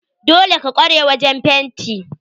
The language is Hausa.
Dole ka kware wajen fenti?